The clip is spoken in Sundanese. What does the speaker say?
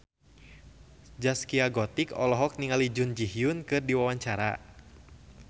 Zaskia Gotik olohok ningali Jun Ji Hyun keur diwawancara